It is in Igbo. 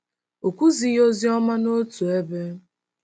O kwughị ozi ọma n’otu ebe